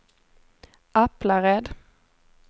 Aplared